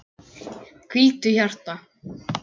Hvíldu, hjarta.